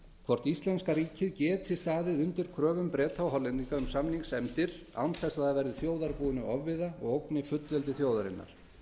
hvort íslenska ríkið geti staðið undir kröfum breta og hollendinga um samningsefndir án þess að það verði þjóðarbúinu ofviða og ógni fullveldi þjóðarinnar